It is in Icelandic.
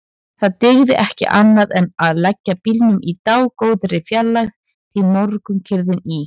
Það dygði ekki annað en leggja bílnum í dágóðri fjarlægð því morgunkyrrð í